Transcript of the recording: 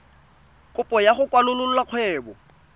kopo ya go kwalolola kgwebo